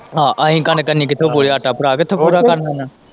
ਹਾਂ ਆਹੀ ਕਣਕ ਇੰਨੀ ਕਿੱਥੋਂ ਪੂਰਾ ਆਟਾ ਭਰਾ ਕਿੱਥੋਂ ਪੂਰਾ ਕਰਨ ਦੇਣਾ।